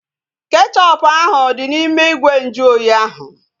Kechọpu ahu dị n'ime ìgwè nju oyi ahu